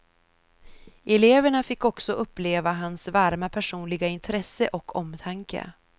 Eleverna fick också uppleva hans varma personliga intresse och omtanke.